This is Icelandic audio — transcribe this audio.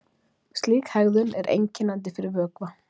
Slík hegðun er einkennandi fyrir vökva.